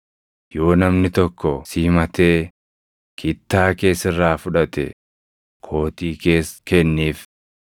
Yoo namni tokko si himatee kittaa kee sirraa fudhate, kootii kees kenniif.